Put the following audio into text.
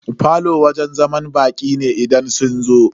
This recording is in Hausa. Falo wajen zaman baƙi ne idan sun zo.